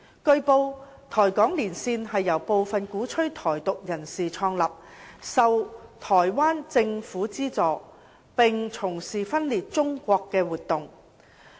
據報，台港連線是由部分鼓吹"台獨"人士創立、受台灣政府資助，並從事分裂中國的活動。